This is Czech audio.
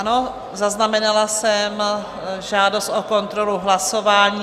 Ano, zaznamenala jsem žádost o kontrolu hlasování.